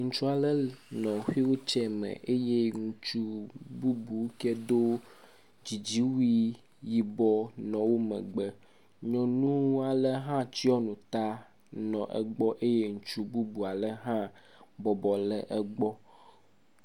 Ŋutsu aɖe le xuiltsɛ me eye ŋutsu bubu ke do dzidziwui yibɔ nɔ wo megbe, nyɔnu ale hã tsyɔ nu ta le gbɔ eye ŋutsu bubu ale hã bɔbɔ le egbɔ.